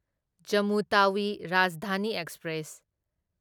Jammu Tawi Rajdhani express